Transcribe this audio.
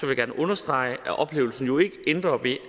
jeg gerne understrege at ophævelsen jo ikke ændrer ved